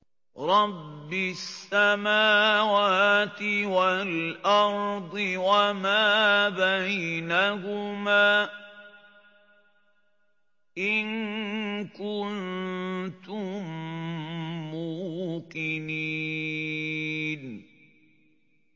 رَبِّ السَّمَاوَاتِ وَالْأَرْضِ وَمَا بَيْنَهُمَا ۖ إِن كُنتُم مُّوقِنِينَ